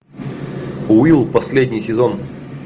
уилл последний сезон